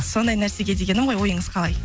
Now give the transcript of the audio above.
сондай нәрсеге дегенім ғой ойыңыз қалай